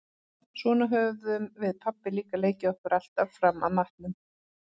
Svona höfðum við pabbi líka leikið okkur alltaf fram að matnum.